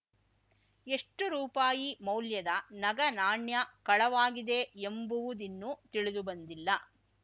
ಎಷ್ಟು ರೂಪಾಯಿ ಮೌಲ್ಯದ ನಗನಾಣ್ಯ ಕಳವಾಗಿದೆ ಎಂಬುವುದಿನ್ನೂ ತಿಳಿದುಬಂದಿಲ್ಲ